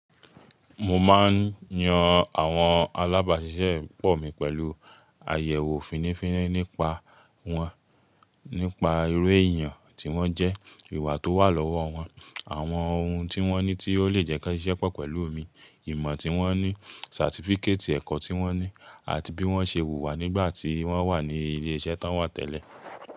Mo máa ń yan àwọn alábàṣiṣẹ́pọ̀ mi pẹ̀lú àyẹ̀wò fínífíni nípa wọn, nípa irú èèyàn tí wọ́n jẹ́, ìwà tó wà lọ́wọ́ wọn, àwọn ohun tí wọ́n ní tí ó lè jẹ́ kí wọ́n ṣiṣẹ pọ̀ pẹ̀lú mi, ìmọ̀ tí wọ́n ní, certificate ẹ̀kọ́ tí wọ́n ní, àti bí wọ́n ṣe wùwà nígbà tí wọ́n wà ní ilé iṣẹ́ tí wọ́n wa tẹ̀lé.